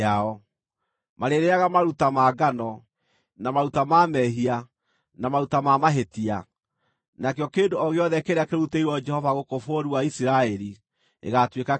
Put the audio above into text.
Marĩĩrĩĩaga maruta ma ngano, na maruta ma mehia, na maruta ma mahĩtia; nakĩo kĩndũ o gĩothe kĩrĩa kĩrutĩirwo Jehova gũkũ bũrũri wa Isiraeli gĩgaatuĩka kĩao.